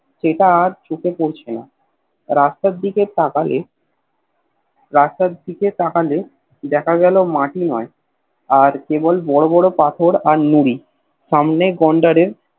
সেটা আর চোখে পড়ছেনা রাস্তার দিকে তাকালে রাস্তার দিকে তাকালে দেখা গেল মাটি নয় আর কেবল বড় বড় পাথর আর নুড়ি সামনে গোন্ডারের